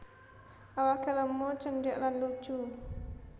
Awake lemu cendhek lan lucu